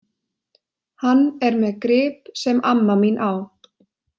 Hann er með grip sem amma mín á.